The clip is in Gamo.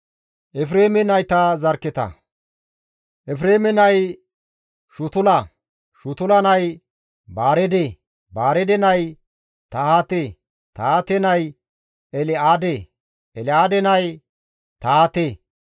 Efreeme nay Shutula; Shutula nay Baareede; Baareede nay Tahaate; Tahaate nay El7aade; El7aade nay Tahaate;